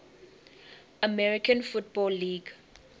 american football league